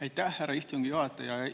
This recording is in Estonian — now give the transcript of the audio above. Aitäh, härra istungi juhataja!